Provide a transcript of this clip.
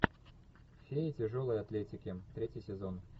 фея тяжелой атлетики третий сезон